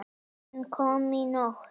Hann kom í nótt.